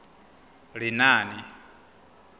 lenaane